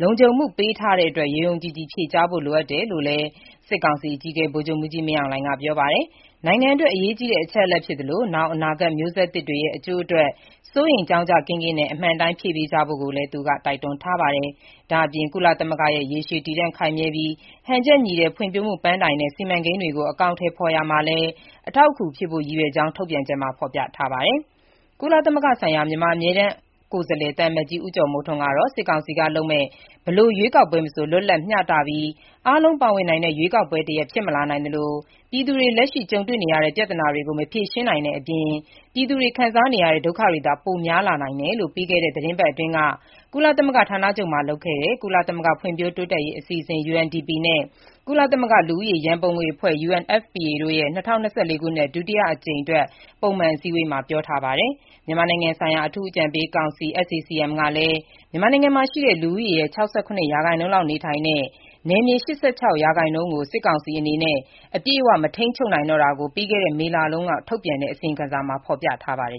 လုံခြုံမှုပေးထားတဲ့အတွက် ယုံယုံကြည်ကြည် ဖြေကြားဖို့လိုအပ်တယ်လို့လည်း စစ်ကောင်စီအကြီးအကဲ ဗိုလ်ချုပ်မှူးကြီး မင်းအောင်လှိုင်က ပြောပါတယ်။ နိုင်ငံအတွက် အရေးကြီးတဲ့ အချက်အလက်ဖြစ်သလို နောင်အနာဂတ်မျိုးဆက်သစ်တွေရဲ့ အကျိုးအတွက် စိုးရိမ်ကြောင့်ကြစိတ်ကင်းကင်းနဲ့ အမှန်အတိုင်းဖြေပေးကြဖို့ ကိုလည်း သူက ပြောထားပါတယ်။ ဒါ့အပြင် ကုလသမဂ္ဂရဲ့ ရေရှည်တည်တံ့ခိုင်မြဲပြီး၊ ဟန်ချက်ညီတဲ့ ဖွင့်ဖြိုးမှု ပန်းတိုင်နဲ့ စီမံကိန်းတွေကို အကောင်အထည်ဖော်ရာမှာလည်း အထောက်အကူဖြစ်ဖို့ ရည်ရွယ်ကြောင်း ထုတ်ပြန်ချက်မှာ ဖော်ပြထားပါတယ်။ ကုလသမဂ္ဂဆိုင်ရာ မြန်မာအမြဲတမ်း ကိုယ်စားလှယ် သံအမတ်ကြီး ဦးကျော်မိုးထွန်း ကတော့ စစ်ကောင်စီကလုပ်မယ့် ဘယ်လို ရွေးကောက်ပွဲမဆို လွတ်လပ်၊ မျှတပြီး အားလုံးပါဝင်နိုင်တဲ့ ရွေးကောက်ပွဲတရပ် ဖြစ်မလာနိုင်သလို၊ ပြည်သူတွေ လက်ရှိကြုံတွေနေရတဲ့ ပြဿနာတွေကို မဖြေရှင်းနိုင်တဲ့အပြင်၊ ပြည်သူတွေ ခံစားနေရတဲ့ ဒုက္ခတွေသာ ပိုများလာနိုင်တယ်လို့ ပြီးခဲ့တဲ့ သီတင်းပတ်အတွင်း ကုလသမဂ္ဂဌာနချုပ်မှာလုပ်တဲ့ ကုလသမဂ္ဂ ဖွံ့ဖြိုးရေးအစီအစဥ် (UNDP) နဲ့ ကုလသမဂ္ဂ လူဦးရေရန်ပုံငွေအဖွဲ့ (UNFPA) တို့ရဲ့ ၂၀၂၄ ခုနှစ်အတွက် ဒုတိယအကြိမ်ပုံမှန်အစည်းအဝေးမှာ ပြောထားပါတယ်။ ကုလသမဂ္ဂရဲ့ မြန်မာနိုင်ငံဆိုင်ရာ အထူးအကြံပေးကောင်စီ (SAC-M) ကလည်း မြန်မာနိုင်ငံမှာရှိတဲ့ လူဦးရေရဲ့ ၆၇% လောက်နေထိုင်တဲ့၊ နယ်မြေ ၈၆% လောက်ကို စစ်ကောင်စီအနေနဲ့ အပြည့်အဝမထိန်းချုပ်နိုင်တော့တာကို ပြီးခဲ့ မေလတုန်းက ထုတ်ပြန်တဲ့ အစီရင်ခံစာမှာ ဖော်ပြထားပါတယ်